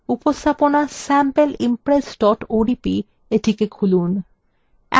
উপস্থাপনা sampleimpress odp এটিকে খুলুন